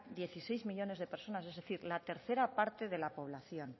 dieciséis millónes de personas es decir la tercera parte de la población